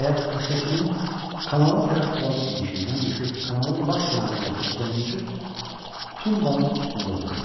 Nəhayət, o səkinin kanala tərəf olan enişindən düşüb, kanalın lap kənarındakı sonuncu tumbaın üstündə oturdu.